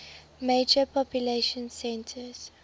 major population centers